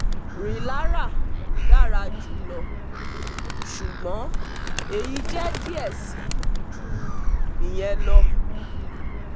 rilara dara julọ, ṣugbọn eyi jẹ diẹ sii ju iyẹn lọ